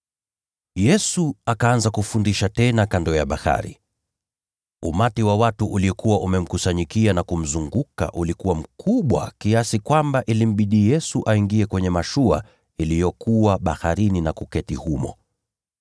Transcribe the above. Yesu akaanza kufundisha tena kando ya bahari. Umati wa watu uliokuwa umekusanyika kumzunguka ulikuwa mkubwa, kiasi kwamba ilimbidi Yesu aingie kwenye mashua iliyokuwa baharini na kuketi humo, nao watu wote walikuwa ufuoni mwa bahari.